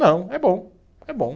Não, é bom, é bom